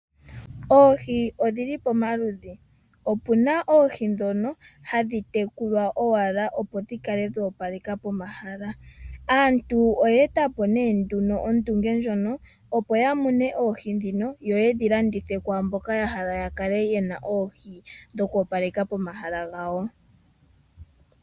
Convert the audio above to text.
Oohi odhili pomaludhi, opuna oohi ndhono hadhi tekulwa owala opo dhi kale dhoopaleka pomahala. Aantu oye eta po nduno ondunge ndjono opo ya mune oohi ndhino yo yedhilandithe kwaamboka ya hala ya kale ye na oohi dhokoopaleka pomahala gawo.